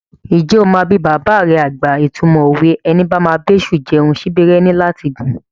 Ǹjẹ́ o máa bi bàbà rẹ àgbà ìtumọ̀ òwe "Ẹni bá máa bá èṣù jẹun, síbí rẹ̀ ní láti gùn"?